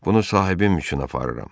Bunu sahibim üçün aparıram.